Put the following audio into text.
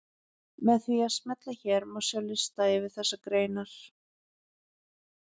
Með því að smella hér má sjá lista yfir þessar greinar.